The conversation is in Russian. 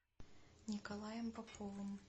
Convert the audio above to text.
николаем поповым